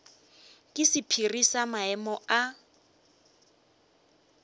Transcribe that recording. ke sephiri sa maemo a